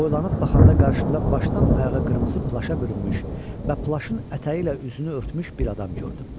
Boylanıb baxanda qarşımda başdan ayağa qırmızı plaşa bürünmüş və plaşın ətəyi ilə üzünü örtmüş bir adam gördüm.